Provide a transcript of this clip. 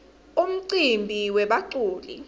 umcimbi webaculi